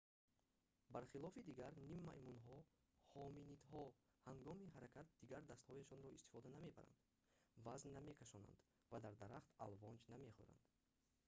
бар хилофи дигар ниммаймунҳо ҳоминидҳо ҳангоми ҳаракат дигар дастҳояшонро истифода намебаранд вазн намекашонанд ва дар дарахтон алвонҷ намехӯранд